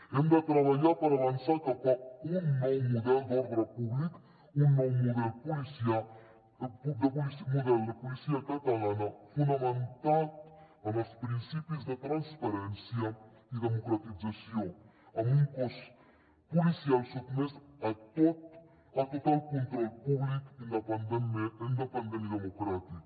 hem de treballar per avançar cap a un nou model d’ordre públic un nou model de policia catalana fonamentat en els principis de transparència i democratització amb un cos policial sotmès a total control públic independent i democràtic